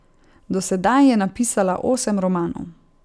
Do sedaj je napisala osem romanov.